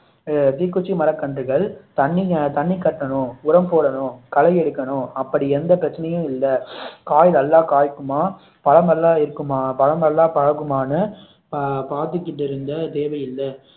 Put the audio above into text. தீக்குச்சி மரக்கன்றுகள் தண்ணி கட்டணும், உரம் போடணும், களை எடுக்கணும் அப்படி எந்த பிரச்சனையும் இல்லை காய் நல்லா காய்க்குமா, பழம் நல்லா வைக்குமா, பழம் நல்லா பழுக்குமான்னு பாத்துட்டு இருக்க தேவை இல்லை